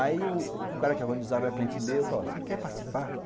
Aí o cara que organizava era cliente meu, falou assim, você quer participar?